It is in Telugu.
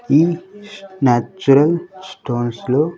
ఈ న్యాచురల్ స్టోన్స్ లో.